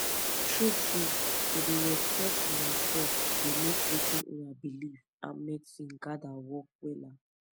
true trueto dey respect una sef dey make wetin una believe and medicine gather work wella